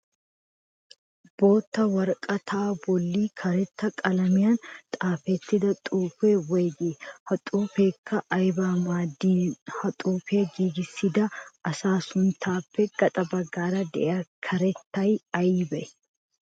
Bootta woraqataa bolli karetta qalamiyan xaafettida xuufee woyigii? Ha xuufeekka ayabaa maaddiinne ha xuufiya giigissida asaa sunttaappe gaxa baggaara diya karettay aybee?